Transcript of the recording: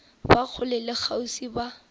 ba kgole le kgauswi ba